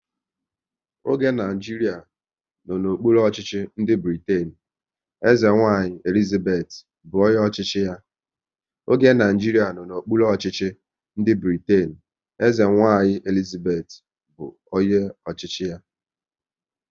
Oge Naijiria nọ n'okpuru ọchịchị ndị Britain, eze nwanyị Elizabeth bụ onye ọchịchị ya